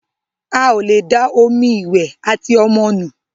Ào lẹ dá omí ìwé àti ọmọ nù.